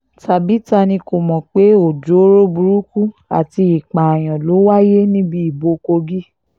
tàbí ta ni kò mọ̀ pé ọjọ́ọ́rọ́ burúkú àti ìpààyàn ló wáyé níbi ìbò kogi